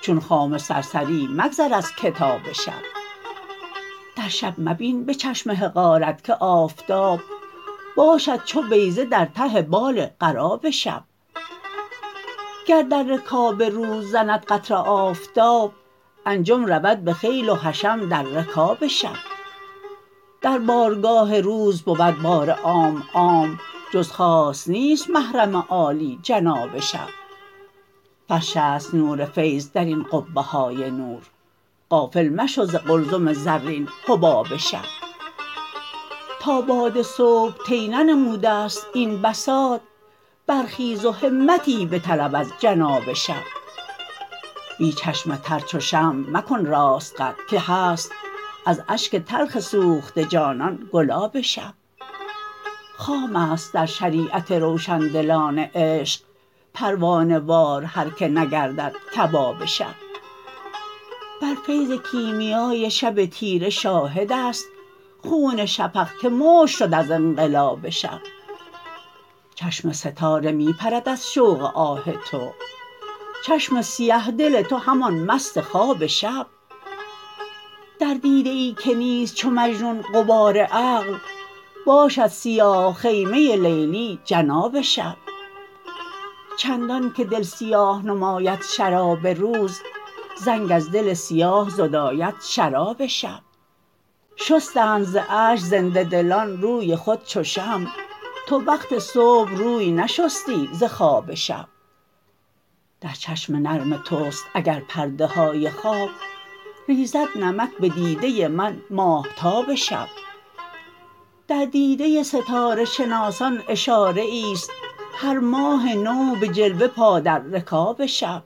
چون خامه سرسری مگذر از کتاب شب در شب مبین به چشم حقارت که آفتاب باشد چو بیضه در ته بال غراب شب گر در رکاب روز زند قطره آفتاب انجم رود به خیل و حشم در رکاب شب در بارگاه روز بود بار عام عام جز خاص نیست محرم عالی جناب شب فرش است نور فیض درین قبه های نور غافل مشو ز قلزم زرین حباب شب تا باد صبح طی ننموده است این بساط برخیز و همتی بطلب از جناب شب بی چشم تر چو شمع مکن راست قد که هست از اشک تلخ سوخته جانان گلاب شب خام است در شریعت روشن دلان عشق پروانه وار هر که نگردد کباب شب بر فیض کیمیای شب تیره شاهد است خون شفق که مشک شد از انقلاب شب چشم ستاره می پرد از شوق آه تو چشم سیه دل تو همان مست خواب شب در دیده ای که نیست چو مجنون غبار عقل باشد سیاه خیمه لیلی جناب شب چندان که دل سیاه نماید شراب روز زنگ از دل سیاه زداید شراب شب شستند ز اشک زنده دلان روی خود چو شمع تو وقت صبح روی نشستی ز خواب شب در چشم نرم توست اگر پرده های خواب ریزد نمک به دیده من ماهتاب شب در دیده ستاره شناسان اشاره ای است هر ماه نو به جلوه پا در رکاب شب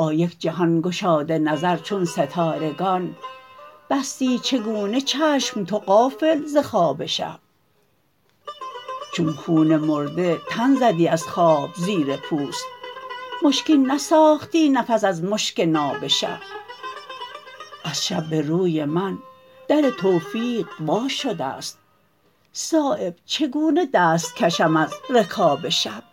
با یک جهان گشاده نظر چون ستارگان بستی چگونه چشم تو غافل ز خواب شب چون خون مرده تن زدی از خواب زیر پوست مشکین نساختی نفس از مشک ناب شب از شب به روی من در توفیق وا شده است صایب چگونه دست کشم از رکاب شب